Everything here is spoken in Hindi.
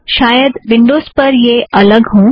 शायद विन्ड़ोज़ पर यह अलग हों